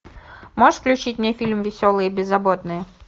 можешь включить мне фильм веселые и беззаботные